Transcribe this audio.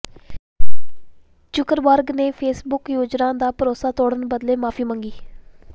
Zuckerberg ਨੇ Facebook ਯੂਜ਼ਰਾਂ ਦਾ ਭਰੋਸਾ ਤੋੜਨ ਬਦਲੇ ਮੁਆਫ਼ੀ ਮੰਗੀ